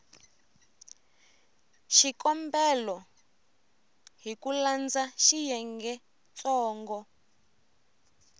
xikombelo hi ku landza xiyengentsongo